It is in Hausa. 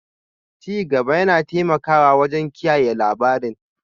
Ci gaba yana taimakawa wajen kiyaye labarin